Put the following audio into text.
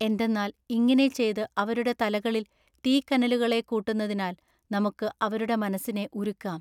എന്തെന്നാൽ ഇങ്ങിനെ ചെയ്ത് അവരുടെ തലകളിൽ തീക്കനലുകളെ കൂട്ടുന്നതിനാൽ നമുക്കു അവരുടെ മനസ്സിനെ ഉരുക്കാം.